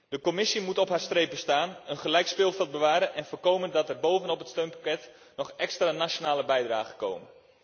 De Commissie moet op haar strepen staan, een gelijk speelveld bewaren en voorkomen dat er bovenop het steunpakket nog extra nationale bijdragen komen.